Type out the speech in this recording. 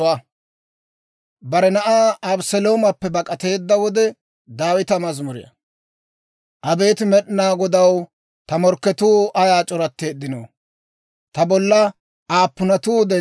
Abeet Med'inaa Godaw, ta morkketuu ayaa c'oratteeddinoo! Ta bolla aappunatuu denddiinoo!